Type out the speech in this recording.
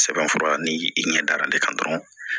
Sɛbɛn fura ni i ɲɛ dara ne kan dɔrɔn